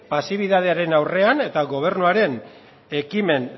pasibidadearen aurrean eta gobernuaren ekimen